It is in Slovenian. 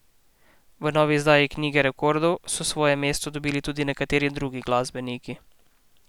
V novi izdaji knjige rekordov so svoje mesto dobili tudi nekateri drugi glasbeniki.